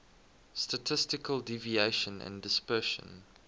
statistical deviation and dispersion